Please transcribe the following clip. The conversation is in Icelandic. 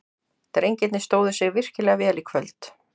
Drengirnir stóðu sig virkilega vel í kvöld.